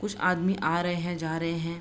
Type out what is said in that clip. कुछ आदमी आ रहे हैं जा रहे हैं।